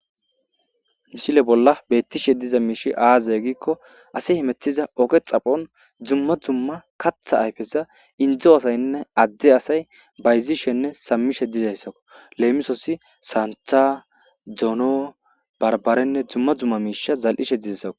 misile bolla bettishe diza miishi aaza giikko asi hemettiza oge xaphon dumma dumma katha ayfeza indzo asaynne adde asay bayzishenne sammishe dizayssako leemisoosi santa dono barbarenne dumma dumma miisha zal'ishe dizaysako